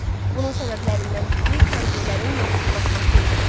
Bunun səbəblərindən biri kəndlilərin yoxsullaşması idi.